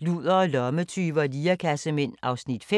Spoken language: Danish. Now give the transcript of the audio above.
Ludere, lommetyve og lirekassemænd (5:6)*